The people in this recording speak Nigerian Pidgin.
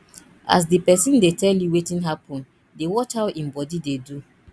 as di pesin dey tel yu wetin hapun dey watch how em body dey do